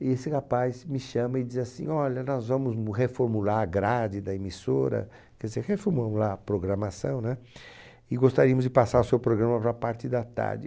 E esse rapaz me chama e diz assim, olha, nós vamos m reformular a grade da emissora, quer dizer, reformular a programação, né? E gostaríamos de passar o seu programa para a parte da tarde.